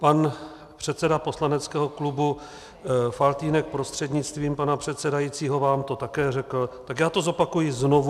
Pan předseda poslaneckého klubu Faltýnek prostřednictvím pana předsedajícího vám to také řekl, tak já to zopakuji znovu.